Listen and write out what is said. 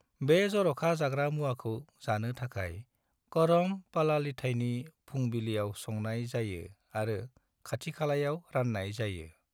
बे जर'खा जाग्रा मुवाखौ जानो थाखाय करम पलालिथायनि फुंबिलिआव संनाय जायो आरो खाथिखालायाव राननाय जायो।